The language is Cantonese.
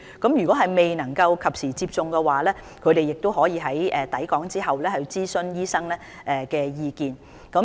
如果外傭未能及時接種疫苗，他們可在抵港後諮詢醫生的意見。